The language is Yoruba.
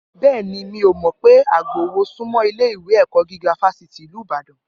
Bẹẹni, mí o mọ pé agbowó súnmọ́ ilé ìwé ẹ̀kọ́ gíga fásitì ìlú ìbàdàn